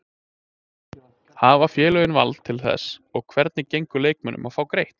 Hafa félögin vald til þess og hvernig gengur leikmönnum að fá greitt?